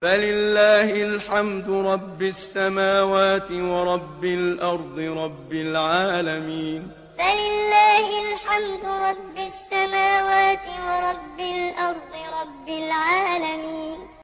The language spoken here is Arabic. فَلِلَّهِ الْحَمْدُ رَبِّ السَّمَاوَاتِ وَرَبِّ الْأَرْضِ رَبِّ الْعَالَمِينَ فَلِلَّهِ الْحَمْدُ رَبِّ السَّمَاوَاتِ وَرَبِّ الْأَرْضِ رَبِّ الْعَالَمِينَ